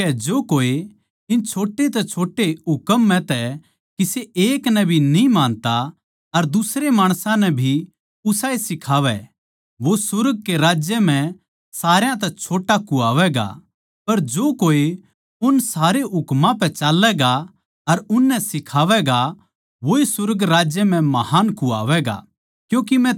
इस करकै जो कोए इन छोटे तै छोटे हुकम म्ह तै किसे एक नै भी न्ही मानता अर दुसरे माणसां नै भी उसाए सिखावै वो सुर्ग के राज्य म्ह सारा तै छोट्टा कुह्वावैगा पर जो कोए उन सारे हुकमां पै चाल्लैगा अर उननै सिखावैगा वोए सुर्ग राज्य म्ह महान् कुह्वावैगा